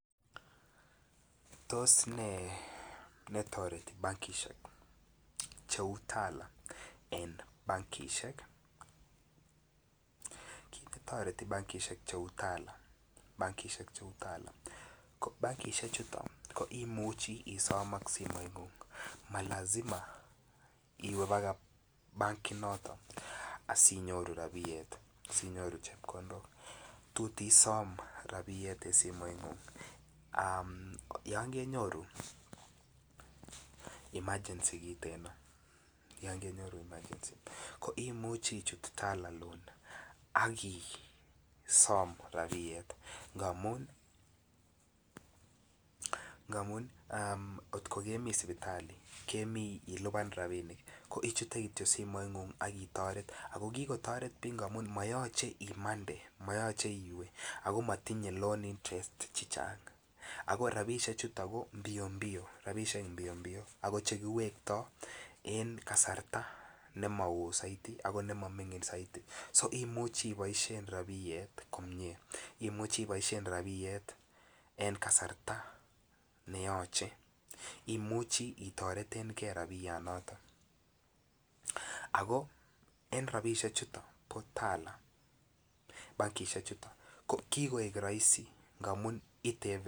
Tos neee netoreti bankishek cheu Tala ing bankishek, kit netoreti bankishek che uu Tala, bankishek che uu Tala ko bankishek chuton ko imuchi isom ak simoingung ma lazima iwe bankit noton asinyoru rabiyet sinyoru chepkondok, tot isom rabiyet en simoingung. Yom kenyoru emergency kiteno yon kenyoru emergency koimuchi ichut tala loan ak iisom rabiyet ngamun ngamun kotko kemii sipitali ko ichute kityo simoingung ak itoret, ako kikotoret biik amun moyoche imande iwee ako motinye loan interest chechang ako rabishek chuton ko mbio mbio , rabishek mbio mbio ako che kiwengto en kasarta en nemowoo soiti ako momingin soiti so imuchi iboishen rabiyet komie imuch iboishen rabiyet en kasarta neyoche. Imuch itoretengee rabiyat noton, ako en rabishek chuton bo Tala bankishek chuton ko kikoik roisi ngamun iteben